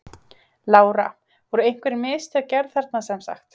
Lára: Voru einhver mistök gerð þarna sem sagt?